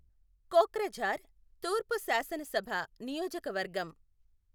కోక్రఝార్ తూర్పు శాసనసభ నియోజకవర్గం